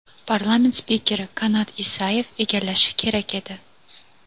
parlament spikeri Kanat Isayev egallashi kerak edi.